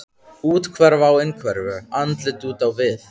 Úthverfa á innhverfu, andlit út á við.